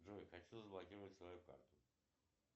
джой хочу заблокировать свою карту